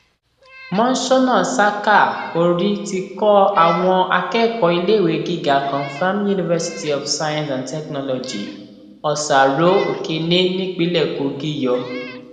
monsónà saka orí ti kọ àwọn akẹkọọ iléèwé gíga confim university of science and technology ọsàrò ọkẹni nípìnlẹ kogi yọ